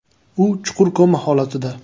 U chuqur koma holatida.